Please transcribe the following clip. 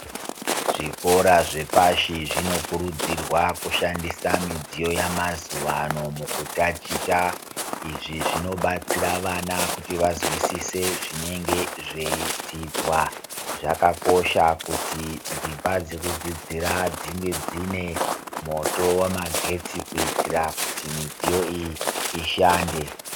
Zvikora zvepashi zvinokurudzirwa kushandisa midziyo yemazuvano mukutaticha. Izvi zvinodetsera vana kuti vazwisise zvinenge zveidzidzwa. Zvakakosha kuti dzimba dzekudzidzira dzinge dzine moto wemagetsi kuitira kuti midziyo iyi ishande.